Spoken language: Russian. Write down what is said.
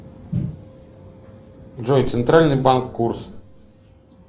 джой центральный банк курс